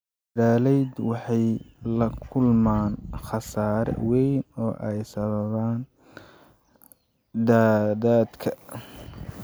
Beeraleydu waxay la kulmaan khasaare weyn oo ay sababaan daadadka.